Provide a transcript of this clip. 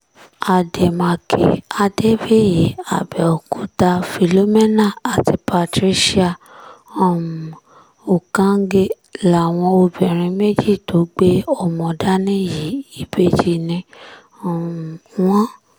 àdèmàkè adébíyì àbẹ̀òkúta philomena àti patricia um ukànge làwọn obìnrin méjì tó gbé ọmọ dání yìí ìbejì ni um wọ́n